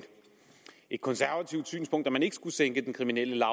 konservativt synspunkt at man ikke skulle sænke den kriminelle